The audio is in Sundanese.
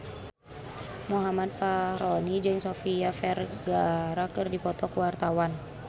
Muhammad Fachroni jeung Sofia Vergara keur dipoto ku wartawan